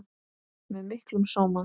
Með miklum sóma.